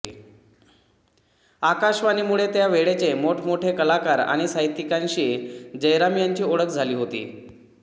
आकाशवाणीमुळे त्या वेळचे मोठमोठे कलाकार आणि साहित्यिकांशी जयराम यांची ओळख झाली होती